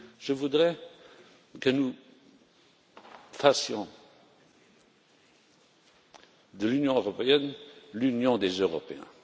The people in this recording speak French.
Je voudrais que nous fassions de l'Union européenne l'Union des Européens.